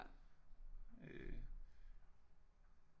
Øh